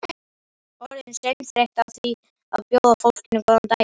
Skiptaréttur kveður upp úrskurði en ekki dóma.